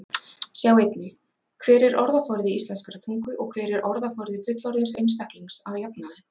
Sjá einnig: Hver er orðaforði íslenskrar tungu og hver er orðaforði fullorðins einstaklings að jafnaði?